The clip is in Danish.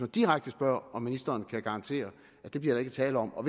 direkte spørger om ministeren kan garantere at det bliver der ikke tale om og